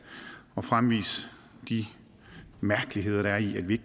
og fremvise de mærkeligheder der er i at vi